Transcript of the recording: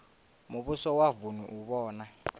muvhuso wa vunu u vhona